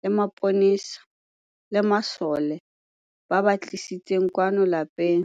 le mapolesa le masole, ba ba tlisitseng kwano lapeng.